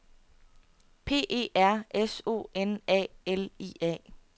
P E R S O N A L I A